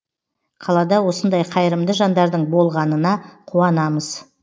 қалада осындай қайырымды жандардың болғанына қуанамыз